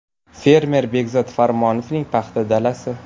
Fermer Bekzod Farmonovning paxta dalasi.